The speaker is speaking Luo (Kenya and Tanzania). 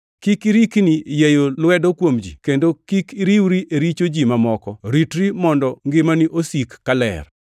Kik irikni yieyo lwedo kuom ji, kendo kik iriwri e richo ji mamoko. Ritri mondo ngimani osik kaler.